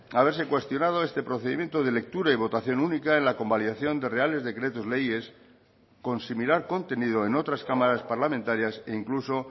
haberse cuestionado este procedimiento de lectura y votación única en la convalidación de reales decretos leyes con similar contenido en otras cámaras parlamentarias e incluso